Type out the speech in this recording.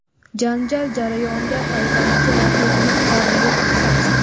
Janjal jarayonida payvandchi raqibining qorniga tig‘ sanchdi.